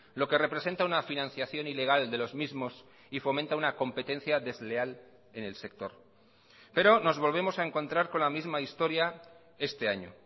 lo que representa una financiación ilegal de los mismos y fomenta una competencia desleal en el sector pero nos volvemos a encontrar con la misma historia este año